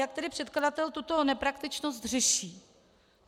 Jak tedy předkladatel tuto nepraktičnost řeší?